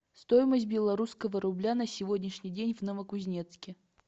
стоимость белорусского рубля на сегодняшний день в новокузнецке